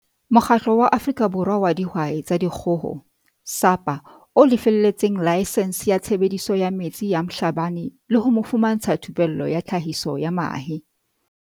Mokgatlo wa Afrika Borwa wa Dihwai tsa Di kgoho, SAPA, o lefelletseng laesense ya tshebediso ya metsi ya Mhlabane le ho mo fumantsha thupello ka tlhahiso ya mahe.